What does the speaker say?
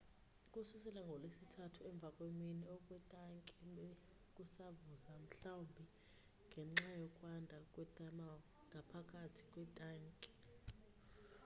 ukususela ngolwesithathu emva kwemini okwetanki bekusavuza mhlawumbi ngenxa yokwanda kwe thermal ngaphakathi kwintanki